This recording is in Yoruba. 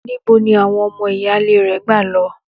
Níbo ni àwon o̩mo̩ ìyáálé re̩ gbà lo̩?